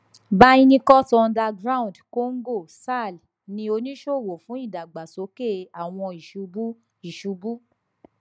byrnecut underground congo sarl ni onisowo fun idagbasoke awọn isubu isubu